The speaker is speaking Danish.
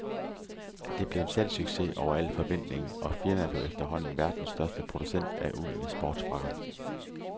Det blev en salgssucces over al forventning, og firmaet blev efterhånden verdens største producent af uldne sportsfrakker.